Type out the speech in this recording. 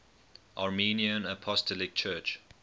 armenian apostolic church